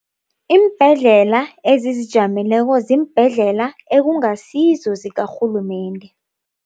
Iimbhedlela ezizijameleko ziimbhedlela ekungasizo zikarhulumende.